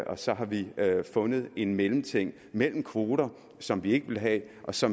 og så har vi fundet en mellemting mellem kvoter som vi ikke vil have og så